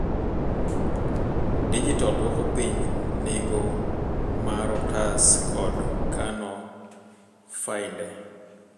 Dijital dwoko piny nengo marotas kod kano fainde.